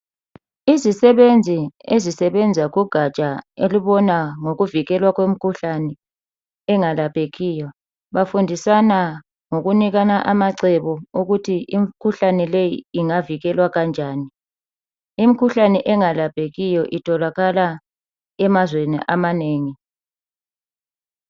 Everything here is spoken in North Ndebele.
Izisebenzi ezisebenza kugaja elibona ngokuvikelwa kwemikhuhlane engalaphekiyo bafundisana ngokunikana amacebo okuthi imikhuhlane leyi ingavikelwa kanjani. Imikhuhlane engalaphekiyo itholakala emazweni amanengi.